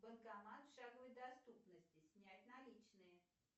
банкомат в шаговой доступности снять наличные